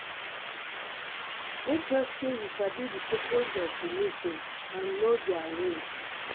make sure say you sabi di purpose purpose of di meeting and know their rules